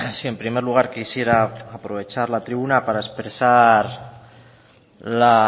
sí en primer lugar quisiera aprovechar la tribuna para expresar la